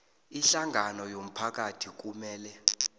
ihlangano yomphakathi kumele